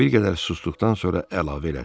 O bir qədər susduqdan sonra əlavə elədi.